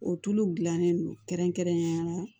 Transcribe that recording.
O tuluw dilannen don kɛrɛnkɛrɛnnenya la